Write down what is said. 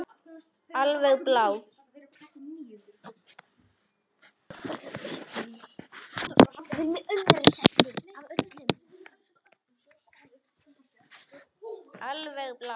Alveg blá.